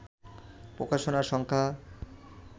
প্রকাশনার সংখ্যা